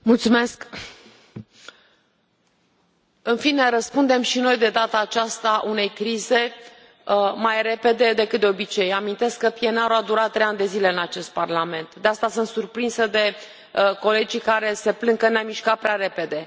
Domnule președinte, în fine răspundem și noi de data aceasta unei crize mai repede decât de obicei. Amintesc că PNR ul a durat trei ani de zile în acest Parlament, de asta sunt surprinsă de colegii care se plâng că ne am mișcat prea repede.